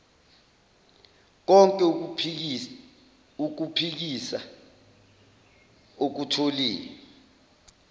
konk ukuphikisa okutholiwe